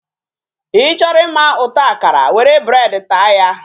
Ị chọrọ ịma ụtọ akara, were bread taa ya.